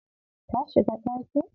Ta shiga ɗakin?